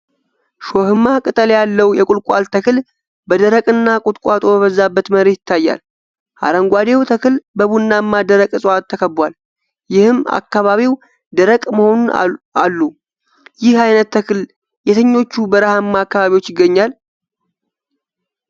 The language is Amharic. ሾሃማ ቅጠል ያለው የቁልቋል ተክል በደረቅና ቁጥቋጦ በበዛበት መሬት ይታያል። አረንጓዴው ተክል በቡናማ ደረቅ እፅዋት ተከቧል፤ ይህም አካባቢው ደረቅ መሆኑን አሉ። ይህ አይነት ተክል የትኞቹ በረሃማ አካባቢዎች ይገኛል?